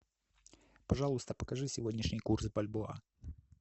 пожалуйста покажи сегодняшний курс бальбоа